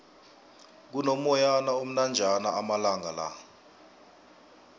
kuno moyana omnanjana amalangala